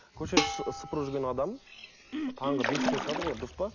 көше сыпырып жүрген адам таңғы бестен шығады ғой дұрыс па